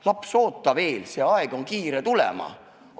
Laps, oota veel, see aeg on kiire tulema!